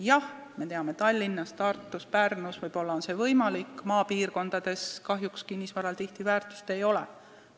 Jah, me teame, et Tallinnas, Tartus, Pärnus on see võib-olla võimalik, maapiirkondades kinnisvaral kahjuks tihtipeale väärtust ei ole.